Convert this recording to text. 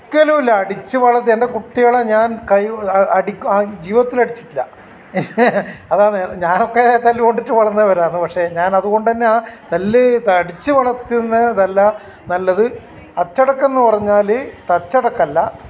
ഒരിക്കലുല്ല അടിച്ച് വളർത്തി എൻ്റെ കുട്ടികളെ ഞാൻ കൈ അടി ജീവിതത്തിൽ അടിച്ചിട്ടില്ല അതാണ് ഞാനൊക്കെ തല്ലുകൊണ്ടിട്ട് വളർന്നവരാണ് ഞാൻ അതുകൊണ്ട് തന്നെ തല്ല് അടിച്ച് വളർത്തുന്നതല്ല നല്ലത് അച്ചടക്കം എന്ന് പറഞ്ഞാൽ തച്ചടക്കല്ല